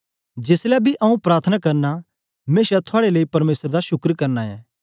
जेसलै बी आऊँ प्रार्थना करना मेशा थुआड़े लेई परमेसर दा शुक्र करना ऐं